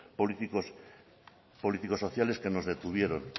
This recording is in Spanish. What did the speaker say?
políticos sociales que nos detuvieron